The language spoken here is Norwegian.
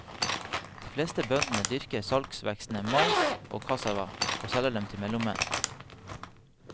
De fleste bøndene dyrker salgsvekstene mais og kassava og selger dem til mellommenn.